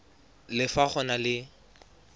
le fa go na le